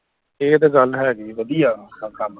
ਇਹ ਤੇ ਗੱਲ ਹੇਗੀ ਵਧਿਆ ਕੰਮ